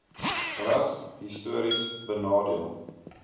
ras histories benadeel